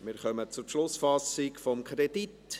Wir kommen zur Beschlussfassung über den Kredit.